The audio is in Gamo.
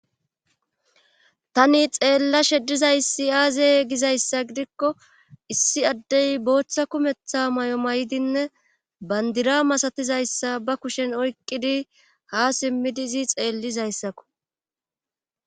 tani xeella sheddizaysi aaze gizayssa gidikko issi addey booththa kumetha may7o may7dinne bandira masatizayssa ba kushen oyqqidi ha simmidizi xeellizayssakko